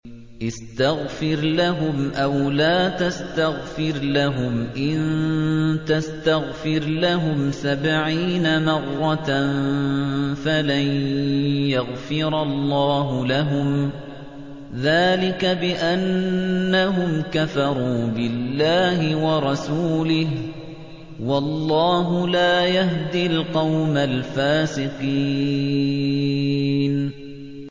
اسْتَغْفِرْ لَهُمْ أَوْ لَا تَسْتَغْفِرْ لَهُمْ إِن تَسْتَغْفِرْ لَهُمْ سَبْعِينَ مَرَّةً فَلَن يَغْفِرَ اللَّهُ لَهُمْ ۚ ذَٰلِكَ بِأَنَّهُمْ كَفَرُوا بِاللَّهِ وَرَسُولِهِ ۗ وَاللَّهُ لَا يَهْدِي الْقَوْمَ الْفَاسِقِينَ